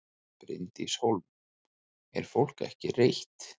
Bryndís Hólm: Er fólk ekki reitt?